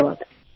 धन्यवाद